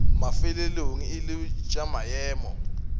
mafelelong e lego tša maemo